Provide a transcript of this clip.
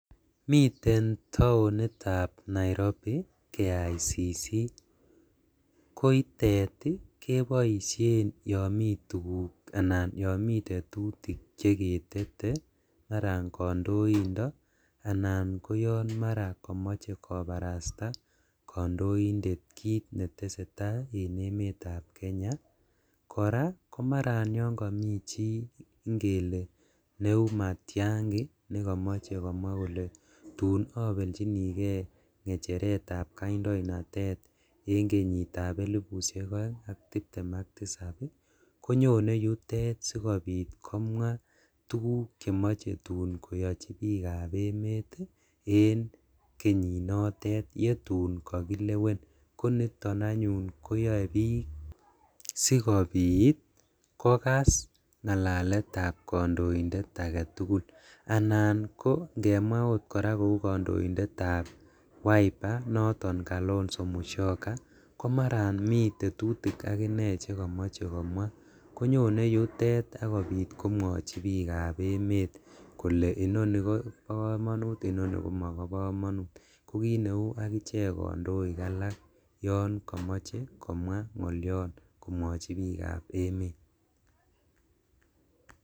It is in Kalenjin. Miten taonitab Nairobi KICC koitet keboisien yon mituguk anan yon mitetutik cheketete maran kondoindo anan koyon maran komoche kobarasta kondoindet kit netesetaa en emetab Kenya, koraa maran koyon komi chi ingele neu Matiangi negomoche komwaa kole tun obeljinigee ngecheretab kandoinatet en kenyitab elipushek oeng ak tiptem ak tisab konyone yutet sikobit komwaa tuguk chemoche tun koyochi bikab emet ii en kenyinotet yetun kokilewen, koniton anyun koyoi bik sikobit kokas ngalekab kondoindet agetugul, anan ko ingemwaa ot koraa kou kondoindetab Wiper Kalonzo Musyoka komaran miten tetutik akinee chekomoche komwaa, konyone yutet sikobit komwochi bikab emet kole inoni kobokomonut inoni komobokomonut kokineu akichek kondoik alak yon komoche komwaa ngolion komwochi bikab emet.